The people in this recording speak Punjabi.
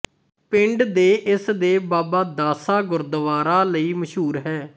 ਪਿੰਡ ਦੇ ਇਸ ਦੇ ਬਾਬਾ ਦਾਸਾ ਗੁਰਦੁਆਰਾ ਲਈ ਮਸ਼ਹੂਰ ਹੈ